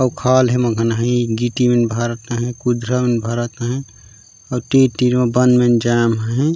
ओ खाल हे मगनहि गिटी में भरत आहे कुछ जमीं भरत आहे और तीन- तीन अपार्टमेंट जाम आहे। --